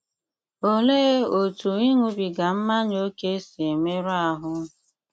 Olee otú ịṅụbiga mmanya ókè si emerụ ahụ́?